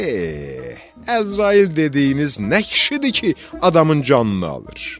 E, Əzrail dediyiniz nə kişidir ki, adamın canını alır?